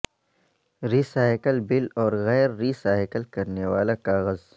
ری سائیکلبل اور غیر recycle کرنے والا کاغذ